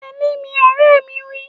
Tẹ̀lé mi, ọ̀rẹ́ mi wí